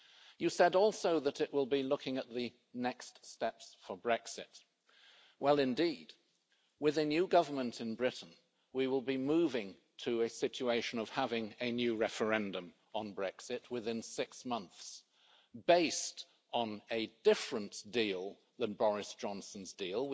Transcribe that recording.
You said also that it will be looking at the next steps for Brexit. Well indeed, with a new government in Britain, we will be moving to a situation of having a new referendum on Brexit within six months, based on a different deal than Boris Johnson's deal.